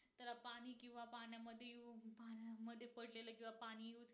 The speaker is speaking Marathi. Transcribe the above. म्हणजे पडलेलं किंवा पाणी